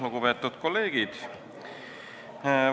Lugupeetud kolleegid!